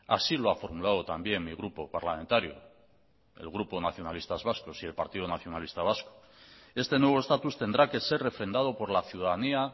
así lo ha formulado también mi grupo parlamentario el grupo nacionalistas vascos y el partido nacionalista vasco este nuevo estatus tendrá que ser refrendado por la ciudadanía